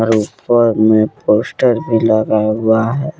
ऊपर में पोस्टर भी लगा हुआ है।